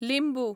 लिंबू